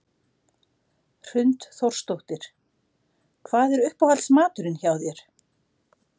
Hrund Þórsdóttir: Hvað er uppáhalds maturinn hjá þér?